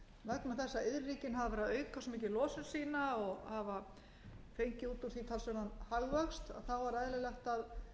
að iðnríkin hafa verið að auka svo mikið losun sína og hafa fengið út úr því talsverðan hagvöxt